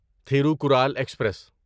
Thirukkural express